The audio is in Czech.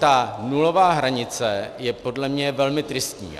Ta nulová hranice je podle mě velmi tristní.